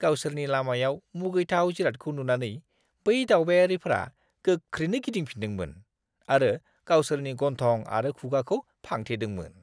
गावसोरनि लामायाव मुगैथाव जिरादखौ नुनानै बै दावबायारिफ्रा गोख्रैनो गिदिंफिन्दोंमोन आरो गावसोरनि गन्थं आरो खुगाखौ फांथेदोंमोन।